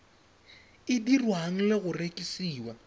e dirwang le go rekisiwa